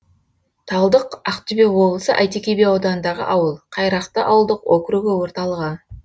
талдық ақтөбе облысы әйтеке би ауданындағы ауыл қайрақты ауылдық округі орталығы